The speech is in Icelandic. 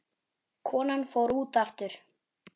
Konan fór út aftur.